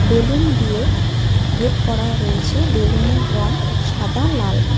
Balloon দিয়ে gate করা রয়েছে বেলুন -এর রং সাদা লাল।